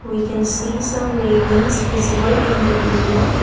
we can see some railings visible in the area.